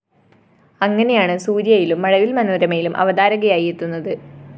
അങ്ങനെയാണ് സൂര്യയിലും മഴവില്‍ മനോരമയിലും അവതാരകയായി എത്തുന്നത്